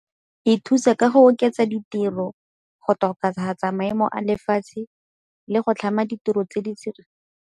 E thusa ka go oketsa ditiro go tokafatsa maemo a lefatshe le go tlhama ditiro tse di tsididi.